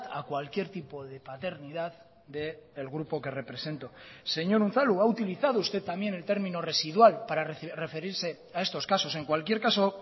a cualquier tipo de paternidad del grupo que represento señor unzalu ha utilizado usted también el término residual para referirse a estos casos en cualquier caso